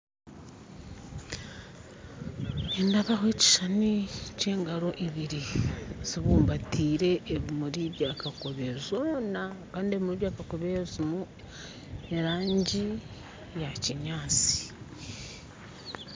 Nindeebaho ekishishani ky'engaro ibiri zibumbatire ebimuri byakakobe zoona, kandi ebimuri byakakobe birimu erangi ya kinyaatsi.